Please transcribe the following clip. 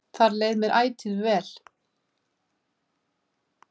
Þar leið mér ætíð vel.